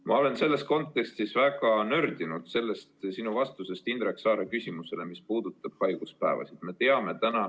Ma olen selles kontekstis väga nördinud sinu vastusest Indrek Saare küsimusele, mis puudutas haiguspäevade hüvitamist.